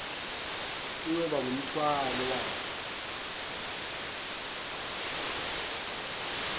kuyoba ngumthwalo waso